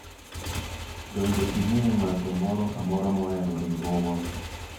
donge ing'eyo ng'ato moro amora ma ohero riwruogwa